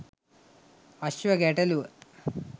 අශ්ව ගැටලුව